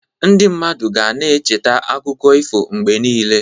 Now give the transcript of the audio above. Ndị mmadụ ga na-echeta akụkọ ifo mgbe niile.